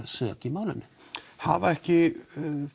sök í málinu hafa ekki